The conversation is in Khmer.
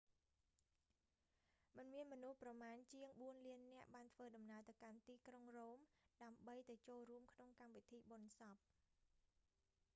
មានមនុស្សប្រមាណជាងបួនលាននាក់បានធ្វើដំណើរទៅកាន់ទីក្រុង រ៉ូម ដើម្បីទៅចូលរួមក្នុងកម្មវិធីបុណ្យសព